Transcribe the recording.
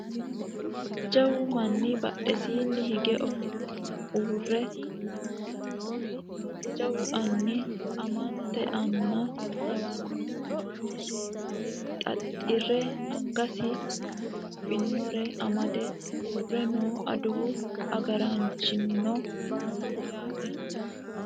jawu manni badhesiinni hige ofollenna uurre noowa mittu jawu anni ammante anna lawannohu umosi xaaxire angasira guluphannore amade uurre no adawu agaraanchino no yaate